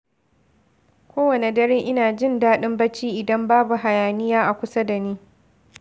Kowane dare, ina jin daɗin bacci idan babu hayaniya a kusa da ni.